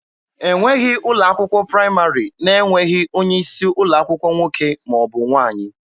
E nweghị ụlọ akwụkwọ praịmarị na-enweghị onye isi ụlọ akwụkwọ nwoke ma ọ bụ nwaanyị.